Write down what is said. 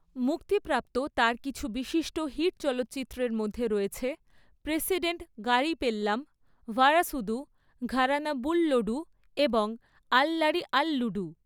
মুক্তিপ্রাপ্ত তার কিছু বিশিষ্ট হিট চলচ্চিত্রের মধ্যে রয়েছে প্রেসিডেন্ট গারি পেল্লাম, ভারাসুদু, ঘরানা বুল্লোডু এবং আল্লারি আল্লুডু।